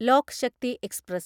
lock Shakti express